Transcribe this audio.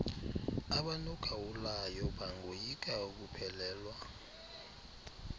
abanogawulayo bangoyika ukuphelelwa